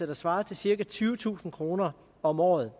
der svarer til cirka tyvetusind kroner om året